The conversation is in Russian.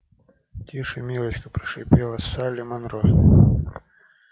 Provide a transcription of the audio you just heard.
тише милочка прошипела салли манро